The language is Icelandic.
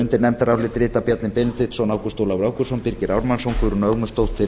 undir nefndarálitið rita bjarni benediktsson ágúst ólafur ágústsson birgir ármannsson guðrún ögmundsdóttir